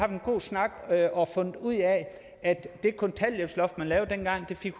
en god snak og fundet ud af at det kontanthjælpsloft man lavede dengang fik